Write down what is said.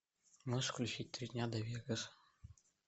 можешь включить три дня до вегаса